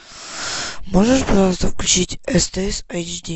можешь пожалуйста включить стс айчди